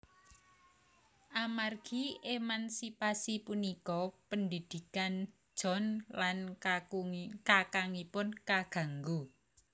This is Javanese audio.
Amargi emansipasi punika pendidikan John lan kakangipun kaganggu